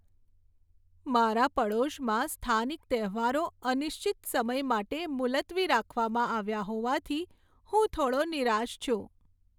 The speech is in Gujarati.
મારા પડોશમાં સ્થાનિક તહેવારો અનિશ્ચિત સમય માટે મુલતવી રાખવામાં આવ્યા હોવાથી હું થોડો નિરાશ છું.